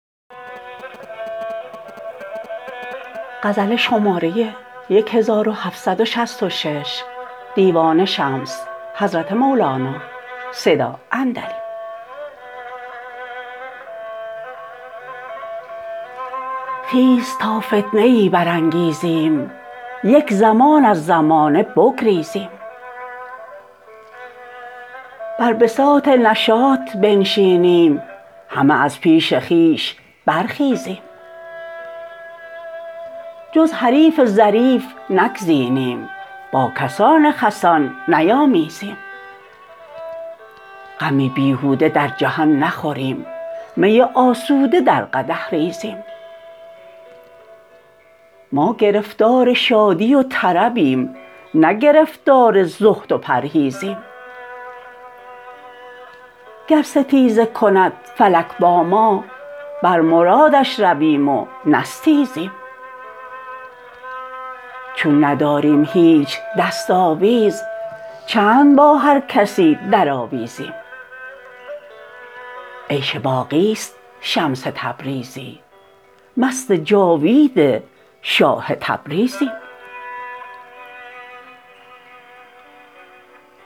خیز تا فتنه ای برانگیزیم یک زمان از زمانه بگریزیم بر بساط نشاط بنشینیم همه از پیش خویش برخیزیم جز حریف ظریف نگزینیم با کسان خسان نیامیزیم غم بیهوده در جهان نخوریم می آسوده در قدح ریزیم ما گرفتار شادی و طربیم نه گرفتار زهد و پرهیزیم گر ستیزه کند فلک با ما بر مرادش رویم و نستیزیم چون نداریم هیچ دست آویز چند با هر کسی درآویزیم عیش باقی است شمس تبریزی مست جاوید شاه تبریزیم